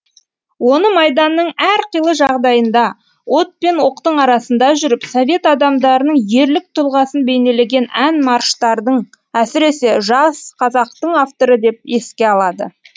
оны майданның әрқилы жағдайында от пен оқтың арасында жүріп совет адамдарының ерлік тұлғасын бейнелеген ән марштардың әсіресе жас қазақтың авторы деп еске алады